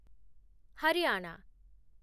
Haryana